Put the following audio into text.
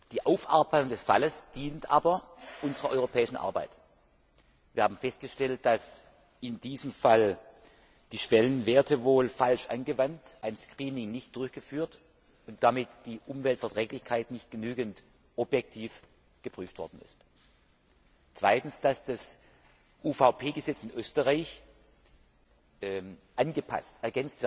Die Aufarbeitung des Falles dient aber unserer europäischen Arbeit. Wir haben festgestellt, dass in diesem Fall die Schwellenwerte wohl falsch angewandt wurden, ein Screening nicht durchgeführt wurde und damit die Umweltverträglichkeit nicht genügend objektiv geprüft worden ist. Zum zweiten müsste das UVP Gesetz in Österreich angepasst bzw.